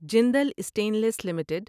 Jindal stainless limited